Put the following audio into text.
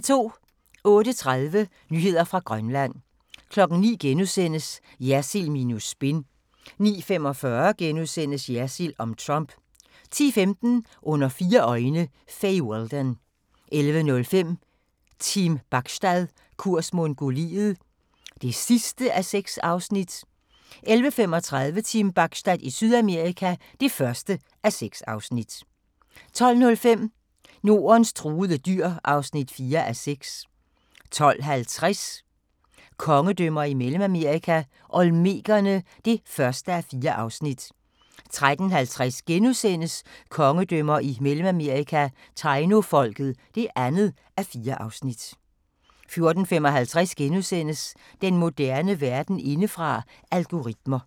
08:30: Nyheder fra Grønland 09:00: Jersild minus spin * 09:45: Jersild om Trump * 10:15: Under fire øjne - Fay Weldon 11:05: Team Bachstad – kurs Mongoliet (6:6) 11:35: Team Bachstad i Sydamerika (1:6) 12:05: Nordens truede dyr (4:6) 12:50: Kongedømmer i Mellemamerika – Olmekerne (1:4) 13:50: Kongedømmer i Mellemamerika – Tainofolket (2:4)* 14:55: Den moderne verden indefra: Algoritmer *